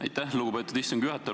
Aitäh, lugupeetud istungi juhataja!